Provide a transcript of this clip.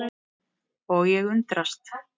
Og ég undrast.